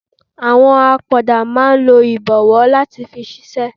Àwọn apoda máa ń lo ibowo láti fi ṣiṣẹ́.